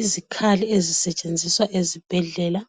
Izikhali ezisetshenziswa ezibhedlela